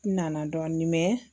N nana dɔɔnin mɛ